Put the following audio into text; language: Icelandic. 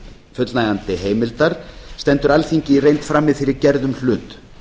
fullnægjandi heimildar stendur alþingi í reynd frammi fyrir gerðum hlut